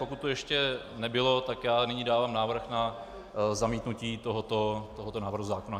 Pokud to ještě nebylo, tak já nyní dávám návrh na zamítnutí tohoto návrhu zákona.